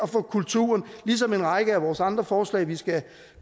få kulturen ligesom en række af vores andre forslag vi skal